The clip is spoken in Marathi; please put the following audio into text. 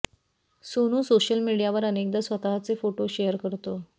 सोनू सोशल मीडियावर अनेकदा स्वतःचे फोटो शेअर करतो